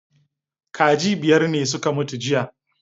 Kaji biyar ne suka mutu jiya